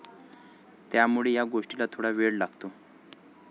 त्यामुळे या गोष्टीला थोडा वेळ लागेल.